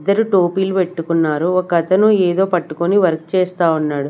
ఇద్దరు టోపీలు పెట్టుకున్నారు ఒక అతను ఏదో పట్టుకొని వర్క్ చేస్తా ఉన్నాడు.